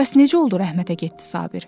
Bəs necə oldu rəhmətə getdi Sabir?